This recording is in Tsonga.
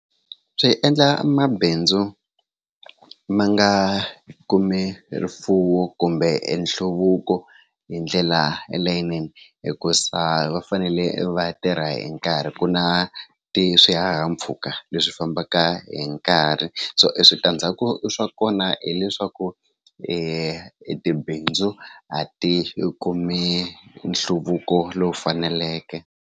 Swi endla mabindzu ma nga kumi rifuwo kumbe nhluvuko hi ndlela elayinini hikuza va fanele va tirha hi nkarhi ku na i swihahampfhuka leswi fambaka hi nkarhi so i switandzhaku swa kona hileswaku i tibindzu a ti kumi nhluvuko lowu faneleke.